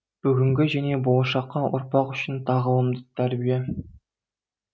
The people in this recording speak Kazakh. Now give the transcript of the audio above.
бүгінгі және болашаққа ұрпақ үшін тағылымды тәрбие